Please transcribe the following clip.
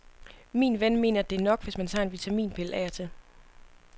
Min ven mener, at det er nok, hvis man tager en vitaminpille af og til.